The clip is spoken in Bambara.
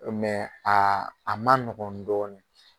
a a man nɔgɔn dɔɔni.